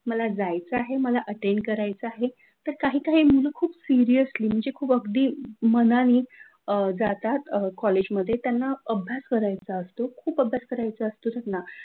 मला जायचं आहे मला अटेंड करायचा आहे! तर काही काही मुलं खूप सिरीयसली म्हणजे खूप अगदी मनाने जातात कॉलेजमध्ये जातात त्यांना अभ्यास करायचा असतो खूप अभ्यास करायचा असतो त्यांना,